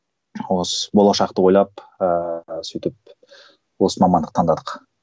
болашақты ойлап ыыы сөйтіп осы мамандық таңдадық